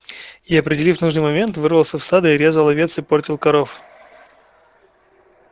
и определив нужный момент врывался в стадо и резал овец и портил коров